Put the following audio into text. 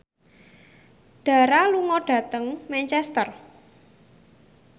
Dara lunga dhateng Manchester